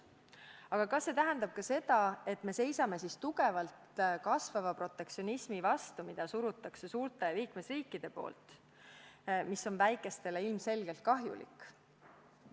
Aga kas see tähendab ka seda, et me seisame tugevalt kasvava protektsionismi vastu, mida suruvad peale suured liikmesriigid ja mis on väikestele ilmselgelt kahjulik?